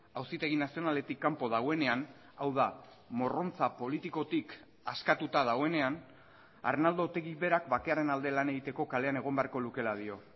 auzitegi nazionaletik kanpo dagoenean hau da morrontza politikotik askatuta dagoenean arnaldo otegi berak bakearen alde lan egiteko kalean egon beharko lukeela dio